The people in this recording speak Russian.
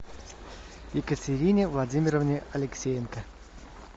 екатерине владимировне алексеенко